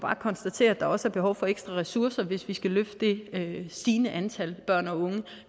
konstatere at der også er behov for ekstra ressourcer hvis vi skal hjælpe det stigende antal børn og unge